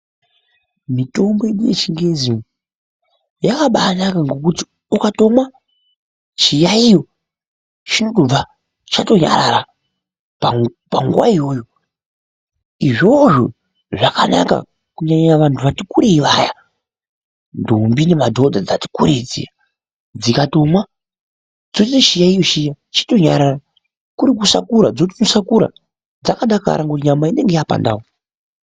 Mitombo yedu yechingezi yakabaanaka nekuti ukatomwa chiyaiyo chinobva chatonyarara panguwa iyoyo, izvozvo zvakanaka kunyanya vanhu vati kurei vaya ndombi nemadhodha dzati kurei dziya dzikatomwa dzotosiye chiyayiyo chiya chotonyarara, kurikusakura dzotoosakura dzakadakara ngekuti nyama inonga yapandau.